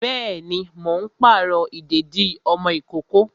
Bẹẹni, mo ń pàrọ̀ ìdèdí ọmọ ìkókó